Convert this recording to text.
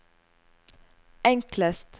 enklest